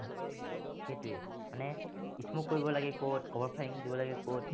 সেইটোৱেই মানে smoke কৰিব লাগে কত, cover firing কৰিব লাগে কত